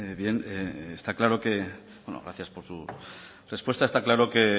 bien está claro bueno gracias por su respuesta está claro que